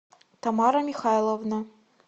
тамара михайловна